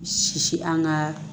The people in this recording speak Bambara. Sisi an ka